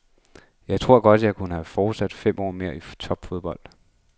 Jeg tror godt, jeg kunne have fortsat fem år mere i topfodbold.